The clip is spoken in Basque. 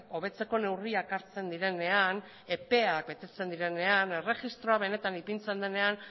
hobetzeko neurriak hartzen direnean epeak betetzen direnean erregistroa benetan ipintzen denean